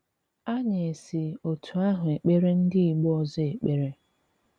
Anyị esi otú áhụ ekpere ndị ìgbo ọzọ ekpere